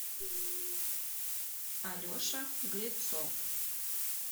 алеша грецов